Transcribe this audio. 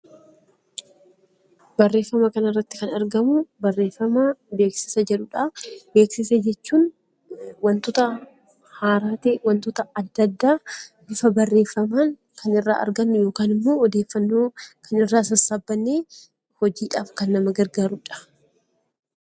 Barreeffama kana irratti kan argamu, barreeffamaa beeksisa jedhudha. Beeksisa jechuun waantota haaraa ta'e, waantota addaa addaa bifa barreeffamaan kan irraa argannu yookaan kan odeeffannoo irraa sassaabannee hojiidhaaf kan nama gargaarudha.